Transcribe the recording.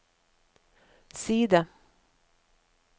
side